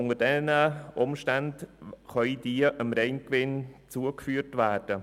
Unter diesen Umständen kann die Rückstellung dem Reingewinn zugeführt werden.